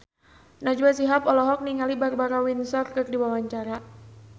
Najwa Shihab olohok ningali Barbara Windsor keur diwawancara